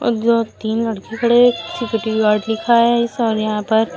ओ जो तीन लड़के खड़े हैं। सिक्योरिटी गार्ड लिखा है इस और यहां पर --